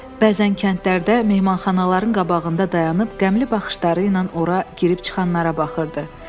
Bəzən kəndlərdə mehmanxanaların qabağında dayanıb qəmli baxışları ilə ora girib çıxanlara baxırdı.